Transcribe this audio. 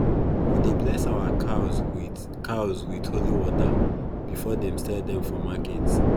we dey bless our cows with cows with holy water before them sell dem for market